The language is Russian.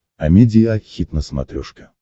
амедиа хит на смотрешке